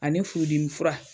Ani furudimi fura